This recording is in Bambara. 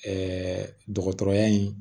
dɔgɔtɔrɔya in